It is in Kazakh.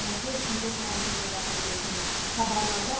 он төрт күндік карантин жалғаса беретінін хабарлады